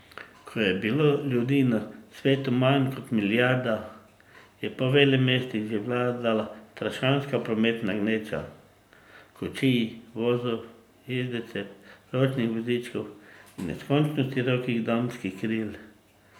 Ko je bilo ljudi na svetu manj kot milijarda, je po velemestih že vladala strašanska prometna gneča kočij, vozov, jezdecev, ročnih vozičkov in neskončno širokih damskih kril.